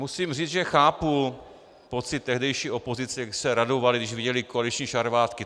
Musím říct, že chápu pocit tehdejší opozice, kdy se radovali, když viděli koaliční šarvátky.